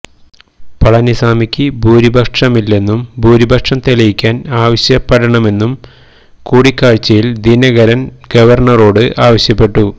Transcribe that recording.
പളനിസ്വാമിക്ക് ഭൂരിപക്ഷമില്ലെന്നും ഭൂരിപക്ഷം തെളിയിക്കാന് ആവശ്യപ്പെടണമെന്നും കൂടിക്കാഴ്ചയില് ദിനകരന് ഗവര്ണറോട് ആവശ്യപ്പെട്ടു